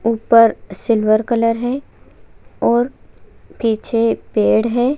ऊपर silver colour है और पीछे पेड़ है।